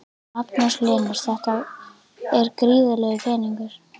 Magnús Hlynur: Þetta er gríðarlegur peningur?